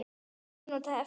Ein mínúta eftir.